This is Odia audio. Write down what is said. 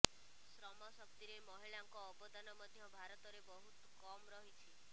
ଶ୍ରମ ଶକ୍ତିରେ ମହିଳାଙ୍କ ଅବଦାନ ମଧ୍ୟ ଭାରତରେ ବହୁତ କମ୍ ରହିଛି